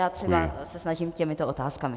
Já třeba se snažím těmito otázkami.